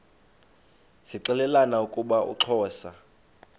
zixelelana ukuba uxhosa